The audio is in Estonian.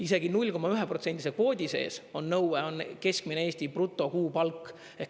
Isegi 0,1%-se kvoodi sees on nõue keskmine Eesti brutokuupalk.